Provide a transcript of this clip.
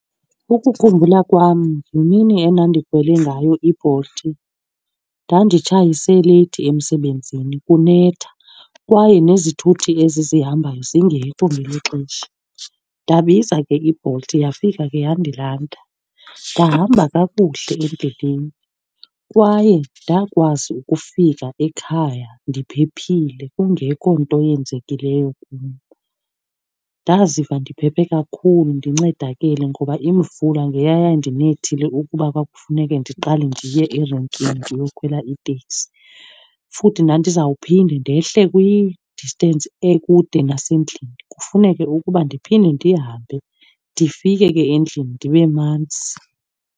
Ukukhumbula kwam yimini endandikhwele ngayo iBolt. Ndanditshayise leyithi emsebenzini kunetha kwaye nezithuthi ezi zihambayo zingekho ngelo xesha. Ndabiza ke iBolt yafika ke yandilanda. Ndahamba kakuhle endleleni kwaye ndakwazi ukufika ekhaya ndiphephile kungekho nto yenzekileyo kum. Ndaziva ndiphephe kakhulu ndincedakele ngoba imvula ngeyayandinethile ukuba kwakufuneke ndiqale ndiye erenkini ndiyokhwela iteksi. Futhi ndandizawuphinda ndehle kwi-distance ekude nasendlini kufuneke ukuba ndiphinde ndihambe, ndifike ke endlini ndibe manzi.